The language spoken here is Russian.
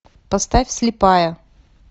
поставь слепая